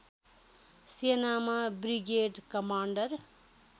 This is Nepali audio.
सेनामा बृगेड कमाण्डर